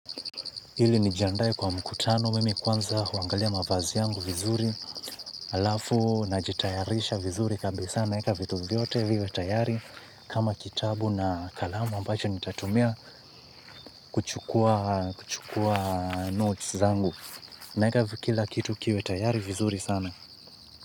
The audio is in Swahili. Ili nijiandae kwa mkutano mimi kwanza huangalia mavazi yangu vizuri. Halafu najitayarisha vizuri kabisa naeka vitu vyote viwe tayari kama kitabu na kalamu ambacho nitatumia kuchukua notes zangu naeka kila kitu kiwe tayari vizuri sana.